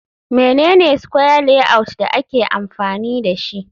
Mene ne square layout da ake amfani dashi